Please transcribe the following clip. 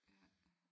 Ja